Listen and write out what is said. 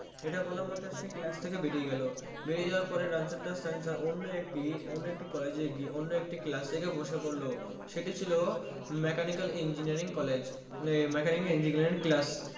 ইটা বলা মাত্রই সে Class থেকে বেরিয়ে গেলো বেরিয়ে যার পরেই রানছর দাস ছানছার অন্য একটি অন্য একটি Class এ গিয়ে ক্লাস এ গিয়ে বসে পড়লো সেটি ছিল Mechanical engineering college এ Mechanical engineering class